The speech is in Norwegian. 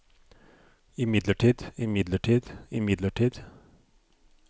imidlertid imidlertid imidlertid